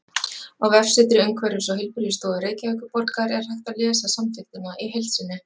Á vefsetri Umhverfis- og heilbrigðisstofu Reykjavíkurborgar er hægt að lesa samþykktina í heild sinni.